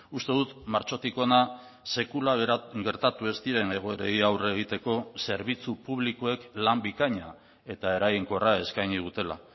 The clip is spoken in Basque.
uste dut martxotik hona sekula gertatu ez diren egoerei aurre egiteko zerbitzu publikoek lan bikaina eta eraginkorra eskaini dutela